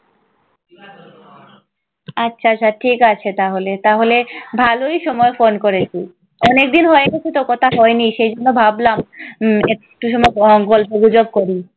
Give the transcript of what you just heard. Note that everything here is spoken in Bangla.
আচ্ছা আচ্ছা ঠিক আছে তাহলে, তাহলে ভালই সময় ফোন করেছি। অনেকদিন হয়ে গেছেতো কথা হয়নি। সেই জন্য ভাবলাম উম একটু সময় প গল্প গুজব করি।